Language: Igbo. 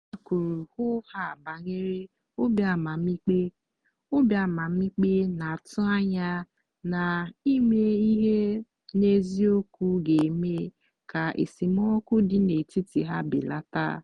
ha kwuru hoo haa banyere obi amamikpe obi amamikpe na-atụ anya na ime ihe n'eziokwu ga-eme ka esemokwu dị n'etiti ha belata.